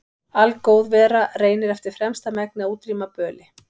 Algóð vera reynir eftir fremsta megni að útrýma böli.